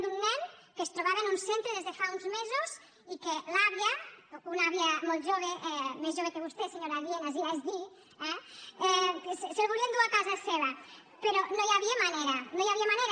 d’un nen que es trobava en un centre des de fa uns mesos i que l’àvia una àvia molt jove més jove que vostè senyora lienas i ja és dir eh se’l volia endur a casa seva però no hi havia manera no hi havia manera